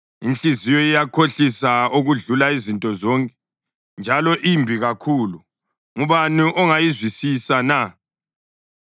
Inhliziyo iyakhohlisa okudlula izinto zonke njalo imbi kakhulu. Ngubani ongayizwisisa na?